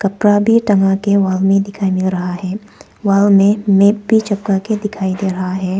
कपड़ा भी टंगा के वहां में दिखाई में रहा है। वहां में मैप भी चपका के दिखाई दे रहा है।